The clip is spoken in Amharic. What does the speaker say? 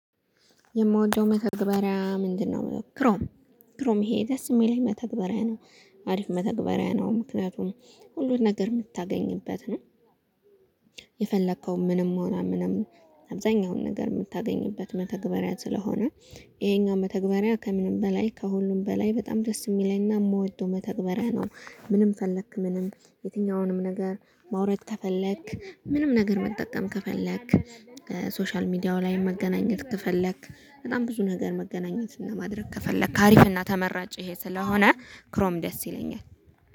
የምወደው መተግበሪያ ምንድነው? ክሮም ክሮም ይሄ ደስ እሚለኝ መተግበሪያ ነው። አሪፍ መተግበሪያ ነው ምክንያቱም ሁሉን ነገር የምታገኝበት ነው። የፈለከው ምንም ሆና ምንም አብዛኛውን ነገር እምታገኝበት መተግበሪያ ስለሆነ ይሄኛው መተግበሪያ ከምንም በላይ ከሁሉም በላይ በጣም ደስ እሚለኝና እምወደው መተግበሪያ ነው። ምንም ፈለክ ምንም የትኛውንም ነገር ማውረድ ተፈለክ ምንም ነገር መጠቀም ከፈለክ ሶሻል ሚዲያው ላይ መገናኘት ከፈለክ በጣም ብዙ ነገር መገናኘትና ማድረግ ከፈለክ አሪፍና ተመራጭ ይሄ ስለሆነ ክሮም ደስ ይለኛል